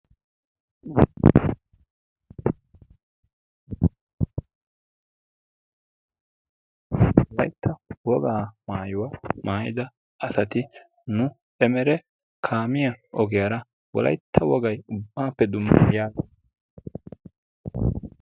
Wolaytta wogaa maayuwaa maayida asati nu emere kaamiyaa ogiyara wolaytta wogaay ubbappe dumma giya...